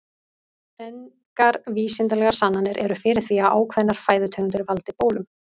Engar vísindalegar sannanir eru fyrir því að ákveðnar fæðutegundir valdi bólum.